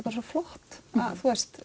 bara svo flott að